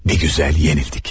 Nə gözəl məğlub olduq.